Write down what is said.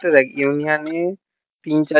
দেখ union এ তিন চার